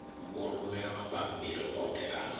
vho rumela mabammbiri oṱhe a